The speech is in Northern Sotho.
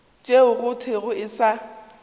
tšeo go thwego e sa